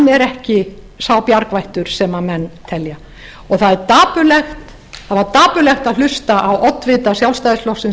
er ekki sá bjargvættur sem menn telja það var dapurlegt að hlusta á oddvita sjálfstæðisflokksins